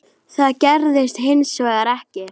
Það gerðist hins vegar ekki.